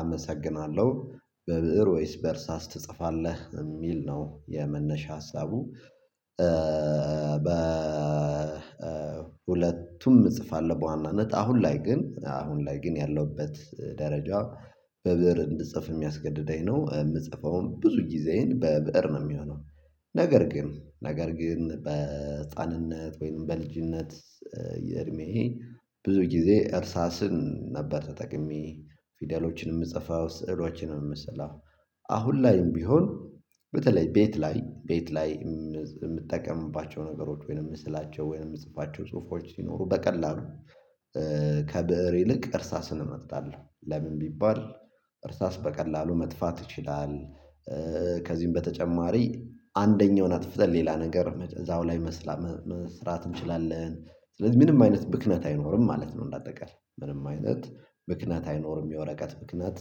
አመሰግናለሁ። በበዕር ወይስ በእርሳስ ትጽፋለህ የሚል ነው የመነሻ ሀሳቡ። በሁለቱም እጽፋለሁ በዋናነት አሁን ላይ ግን አሁን ላይ ግን ያለሁበት ደረጃ በብእር እንድጽፍ የሚያስገድደኝ ነው የምጽፈው ብዙ ጊዜዬን በብእር ነው የሚሆነው። ነገር ግን ነገር ግን በ ህፃንነት ወይም በልጅነት የዕድሜዬ ብዙ ጊዜ እርሳስን ነበር ተጠቅሜ ፊደሎችን የምጽፈው ስዕሎችን የምስለው። አሁን ላይም ቢሆን በተለይ ቤት ላይ ቤት ላይ የምጠቀምባቸው ነገሮች ወይም የምስላቸው ወይም የምጽፋቸው ጽሁፎች ሲኖሩ በቀላሉ ከብእር ይልቅ እርሳስን እመርጣለሁ። ለምን ቢባል እርሳስ በቀላሉ መጥፋት ይችላል። በተጨማሪ አንደኛውን አጥፍተን ሌላ ነገር እዛው ላይ መስራት እንችላለን ስለዚህ ምንም አይነት ብክነት አይኖርም ማለት ነው። እንደ አጠቃላይ ምንም አይነት ምክንያት አይኖርም የወረቀት ብክነት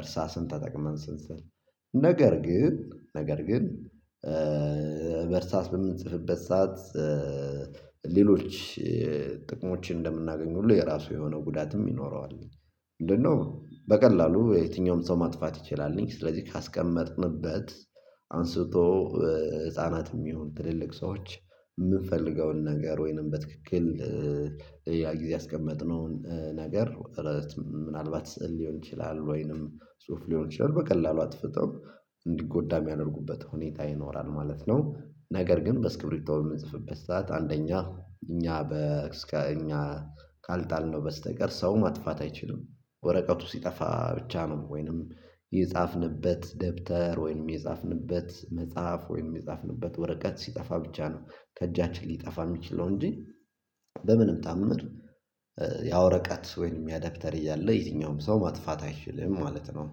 እርሳስን ተጠቅመን ስንሥል ነገር ግን ነገር ግን በእርሳስ በምንጽፍበት ሰዓት ሌሎች ጥቅሞችን እንደምናገኝ ሁሉ የራሱ የሆነም ጉዳትም ይኖረዋል። ምንድነው በቀላሉ የትኛውም ሰው ማጥፋት ይችላል። ስለዚህ ካስቀመጥንበት አንስቶ ህፃናትም የሚሆን ትልልቅ ሰዎች የምንፈልገውን ነገር ወይንም በትክክል ያ ጊዜ ያስቀመጥነውን ነገር ምናልባት ሊሆን ይችላል ወይም ጽሁፍ ሊሆን ይችላል በቀላሉ አጥፍተው እንዲጎዳ የሚያደርጉበት ሁኔታ ይኖራል። ማለት ነው ነገር ግን በስክሪብቶ የምንጽፍበት ሰዓት አንደኛ እኛ እስከእኛ ካልጣልነው በስተቀር ሰው ማጥፋት አይችልም። ወረቀቱ ሲጠፋ ብቻ ነው ወይም የጻፍንበት ደብተር ወይም የጻፍንበት መጽሐፍ ወይም የጻፍንበት ወረቀት ሲጠፋ ብቻ ነው ከእጃችን ሊጠፋ የሚችለው እንጂ በምንም ታምር ያ ወረቀት ወይም ያ ደብተር እያለ የትኛውም ሰው ማጥፋት አይችልም ማለት ነው።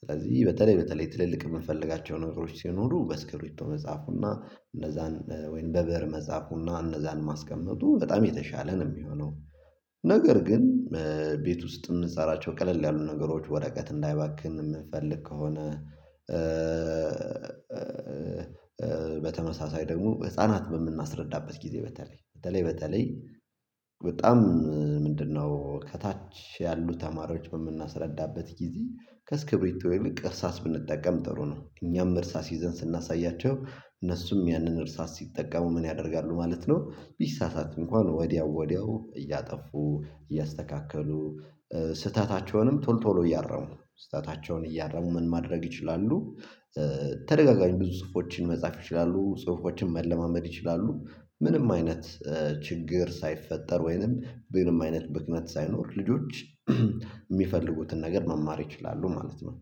ስለዚህ በተለይ በተለይ ትልልቅ የምንፈልጋቸው ነገሮች ሲኖሩ በስክሪብቶ መጻፉና እነዛን ወይም በብእር መጻፉና እነዛን ማስቀመጡ በጣም የተሻለ ነው የሚሆነው። ነገር ግን ቤት ውስጥ የምንሰራቸው ቀለል ያሉ ነገሮች ወረቀት እንዳይባክን የምንፈልግ ከሆነ በተመሳሳይ ደግሞ ህፃናት በምናስረዳበት ጊዜ በተለይ በተለይ በተለይ በጣም ምንድነው ከታች ያሉ ተማሪዎች በምናስረዳበት ጊዜ ከስክሪብቶ ይልቅ እርሳስ ብንጠቀም ጥሩ ነው። እኛም እርሳስ ይዘን ስናሳያቸው እነሱም ያንን እርሳስ ሲጠቀሙ ምን ያደርጋሉ ማለት ነው? ቢሳሳቱ እንኳ ወዲያው ወዲያው እያጠፉ እያስተካከሉ ስህተታቸውንም ቶሎ ቶሎ እያረሙ ስህተታቸውን እያረሙ ምን ማድረግ ይችላሉ። ተደጋጋሚ ብዙ ጽሁፎችን መጻፍ ይችላሉ ጽሁፎችን መለማመድ ይችላሉ። ምንም አይነት ችግር ሳይፈጠር ወይም ምንም አይነት ምክንያት ሳይኖር ልጆች የሚፈልጉትን ነገር መማር ይችላሉ ማለት ነው።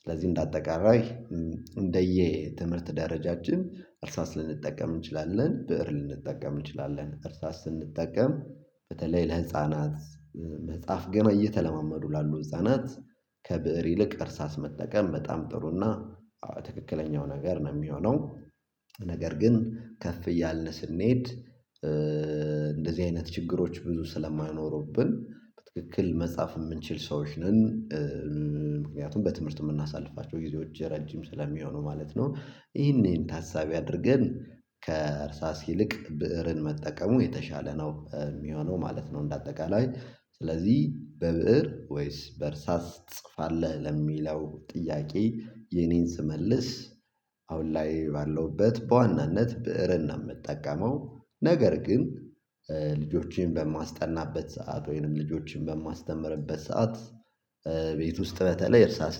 ስለዚህ እንደ አጠቃላይ እንደ የትምህርት ደረጃችን እርሳስ ልንጠቀም እንችላለን ብእር ልንጠቀም እንችላለን እርሳስ ስንጠቀም በተለይ ለህፃናት መጻፍ ገና እየተለማመዱ ላሉ ህፃናት ከብእር ይልቅ እርሳስ መጠቀም በጣም ጥሩና ትክክለኛው ነገር ነው የሚሆነው። ነገር ግን ከፍ እያለን ስንሄድ እንደዚህ አይነት ችግሮች ብዙ ስለማይኖሩብን በትክክል መጻፍ የምንችል ሰዎች ነን። ምክንያቱም በትምህርት የምናሳልፋቸው ጊዜዎች ረጅም ስለሚሆኑ ማለት ነው ይህንን ታሳቢ አድርገን ከእርሳስ ይልቅ ብእርን መጠቀሙ የተሻለ ነው የሚሆነው ማለት ነው። እንደ አጠቃላይ ስለዚህ በብእር ወይስ በእርሳስ ትጽፋለህ? ለሚለው ጥያቄ የእኔን ስመልስ ላይ ባለሁበት በዋናነት ብእርን ነው የምጠቀመው። ነገር ግን ልጆችን በማስጠናበት ሰዓት ወይም ልጆችን በማስተምርበት ሰዓት ቤት ውስጥ በተለይ እርሳስ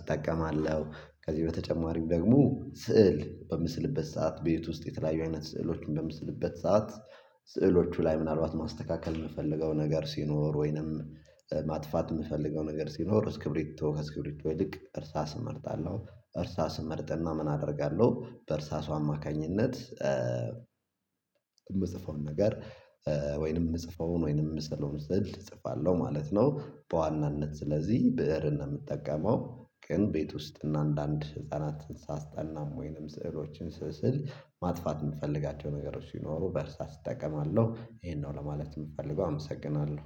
እጠቀማለሁ። ከዚህ በተጨማሪም ደግሞ ስዕል በምስልበት ሰዓት በቤት ውስጥ የተለያዩ አይነት ስዕሎችን በምስልበት ሰዓት ሥዕሎቹ ላይ ምናልባት ማስተካከል የምፈልገው ነገር ሲኖር ወይም ማጥፋት የምፈልገው ነገር ሲኖር እስክሪብቶ ከእስክሪብቶ ይልቅ እርሳስ እመርጣለሁ። እርሳስ እመርጥና ምን አደርጋለሁ በእርሳሱ አማካኝነት የምጽፈውን ነገር ወይም የምጽፈውን ወይም የምስለውን ሰእል እጽፋለሁ ማለት ነው። በዋናነት ስለዚህ ብእርን ነው የምጠቀመው። ግን ቤት ውስጥ እና አንዳንድ ህፃናትን ሳስጠናም ወይም ስዕሎችን ስስል ማጥፋት የምፈልጋቸው ነገሮች ሲኖሩ በእርሳስ እጠቀማለሁ። ይህን ነው ለማለት የምፈልገው አመሰግናለሁ